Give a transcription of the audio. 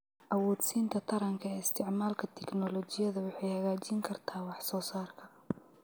Awoodsiinta taranka ee isticmaalka tignoolajiyada waxay hagaajin kartaa wax soo saarka.